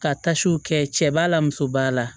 Ka tasiw kɛ cɛ b'a la muso b'a la